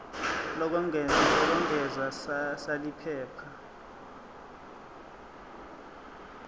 lokwengeza sal iphepha